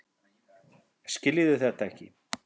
Skiljiði þetta ekki?